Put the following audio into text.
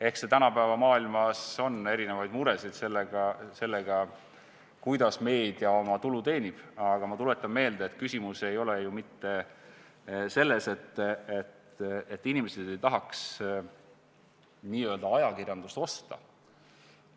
Eks tänapäeva maailmas ole erinevaid muresid sellega, kuidas meedia oma tulu teenib, aga ma tuletan meelde, et küsimus ei ole ju mitte selles, et inimesed ei tahaks n-ö ajakirjandust osta,